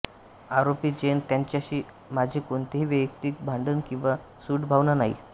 आरोपी जैन यांच्याशी माझे कोणतेही वैयक्तिक भांडण किंवा सूडभावना नाही